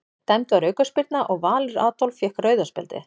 Dæmd var aukaspyrna og Valur Adolf fékk rauða spjaldið.